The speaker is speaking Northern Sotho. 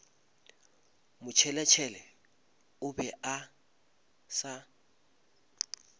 motšheletšhele o be a sa